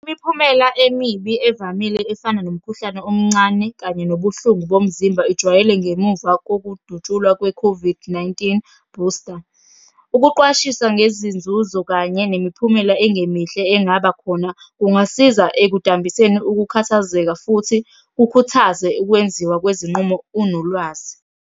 Imiphumela emibi evamile efana nomkhuhlane omncane kanye nobuhlungu bomzimba ijwayele ngemuva kokudutshulwa kwe-COVID-19 booster. Ukuqwashisa ngezinzuzo kanye nemiphumela engemihle engaba khona, kungasiza ekudambiseni ukukhathazeka, futhi kukhuthaze ukwenziwa kwezinqumo unolwazi.